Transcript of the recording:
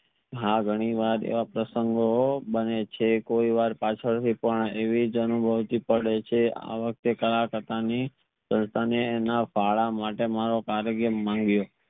હા ઘણી વાર એવા પ્રસંગો બને છે કોઈ વાર પછાડ થી પણ એવિજ અનુભૂતિ પડે છે આ વખતે કરા કાકા ની મંગિયો